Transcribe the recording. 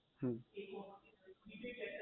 હમ